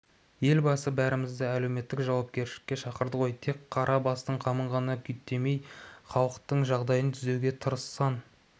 елбасы бәрімізді әлеуметтік жауапкершілікке шақырды ғой тек қара бастың қамын ғана күйттемей халықтың жағдайын түзеуге тырыссаң